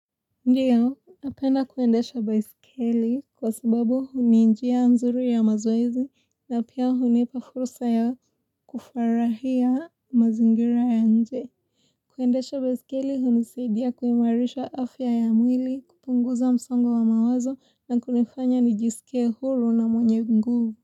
Ndio, napenda kuendesha baiskeli kwa sababu ni njia mzuri ya mazoezi na pia hunipa furusa ya kufarahia mazingira ya nje. Kuendesha baiskeli hunisadia kuimarisha afya ya mwili, kupunguza msongo wa mawazo na kunifanya nijisike huru na mwenye mguvu.